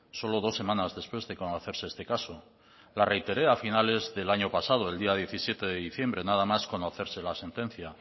solo dos semanas después de conocerse este caso la reiteré a finales del año pasado el día diecisiete de diciembre nada más conocerse la sentencia